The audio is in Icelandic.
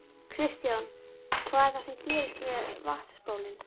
Kristján: Hvað er það sem gerist með vatnsbólin?